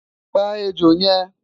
pa ẹjọ yen